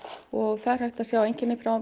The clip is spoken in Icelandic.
og það er hægt að sjá einkenni frá